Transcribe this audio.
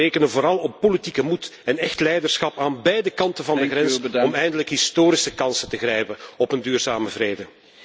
Maar we rekenen vooral op politieke moed en echt leiderschap aan beide kanten van de grens om eindelijk historische kansen te grijpen op een duurzame vrede.